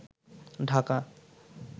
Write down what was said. Dhaka